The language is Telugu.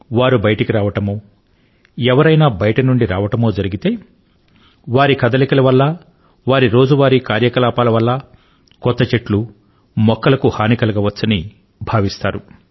వారు బయటికి రావడమో ఎవరైనా బయటి నుండి రావడమో జరిగితే వారి కదలికల వల్ల వారి రోజువారీ కార్యకలాపాల వల్ల కొత్త మొక్కలకు హాని కలగవచ్చని భావిస్తారు